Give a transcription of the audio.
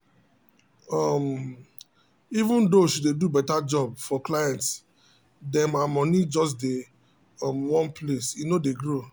um even though she dey do better job for client dem her money just dey um one place e no dey grow.